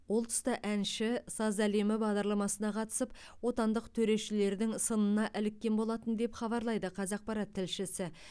ол тұста әнші саз әлемі бағдарламасына қатысып отандық төрешілердің сынына іліккен болатын деп хабарлайды қазақпарат тілшісі